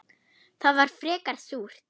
Það var frekar súrt.